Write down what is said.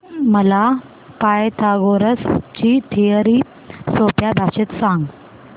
मला पायथागोरस ची थिअरी सोप्या भाषेत सांग